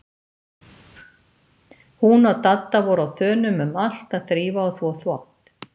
Hún og Dadda voru á þönum um allt að þrífa og þvo þvott.